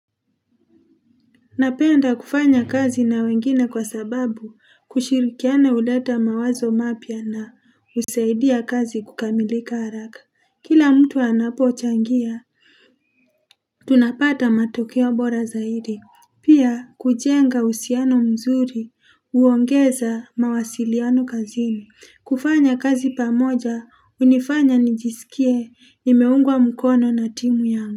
Napenda kufanya kazi na wengine kwa sababu kushirikiana uleta mawazo mapya na usaidia kazi kukamilika haraka. Kila mtu anapochangia, tunapata matokeo bora zaidi. Pia kujenga usiano mzuri, uongeza mawasiliano kazini. Kufanya kazi pamoja, unifanya nijisikie imeungwa mkono na timu yangu.